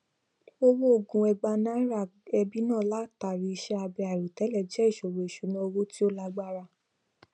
ọwọ oògùn ẹgbàá naira ẹbí náà látàrí iṣẹ abẹ àìròtẹlẹ jẹ ìṣòro ìṣúná owó tí ó lágbára